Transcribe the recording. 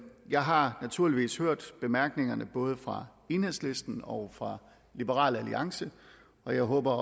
jeg har naturligvis hørt bemærkningerne både fra enhedslisten og fra liberal alliance og jeg håber